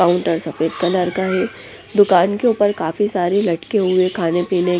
counter सफेद colour का है दुकान के ऊपर काफी सारे लटके हुए खाने-पीने--